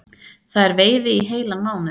Það er veiði í heilan mánuð